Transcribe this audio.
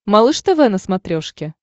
малыш тв на смотрешке